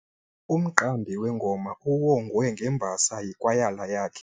Umqambi wengoma uwongwe ngembasa yikwayala yakhe.